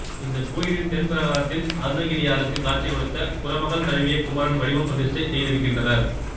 இந்தக் கோயிலின் தென் பிராகாரத்தில் அருணகிரியாருக்குக் காட்சி கொடுத்த குறமகள் தழுவிய குமரன் வடிவம் பிரதிஷ்டை செய்திருக்கின்றனர்